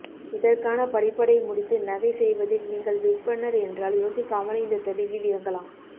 இதற்கான படிப்படை முடித்து நகை செய்வதில் நீங்கள் விற்பன்னர் என்றால் யோசிக்காமல் இந்தத் தொழிலில் இறங்கலாம்